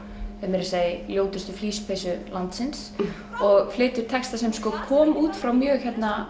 er meira að segja í ljótustu flíspeysu landsins og flytur texta sem kom út frá mjög